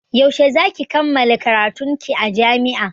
Yaushe za ki kammala karatun ki a jami'a?